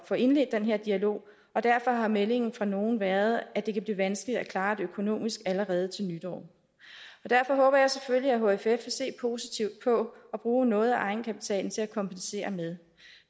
få indledt den her dialog og derfor har meldingen fra nogle været at det kan blive vanskeligt at klare det økonomisk allerede til nytår derfor håber jeg selvfølgelig at hff vil se positivt på at bruge noget af egenkapitalen til at kompensere med